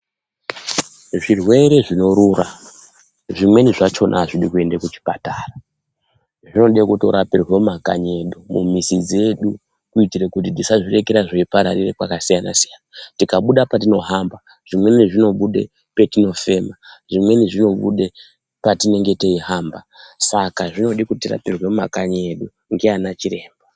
Zvirwere zvinorura zvimweni zvachona hazvidi kuende kuchipatara. Zvinode kutorapirwe mumakanyi edu mumizi dzedu, kuitire kuti tisazviregere zveipararira kwakasiyana-siyana. Tikabude patinohamba zvimweni zvinobude patinofema. zvimweni zvinobede patinenge teihamba. Saka zvinode kuti tirapirwe mumakanyi edu ndiana chiremba.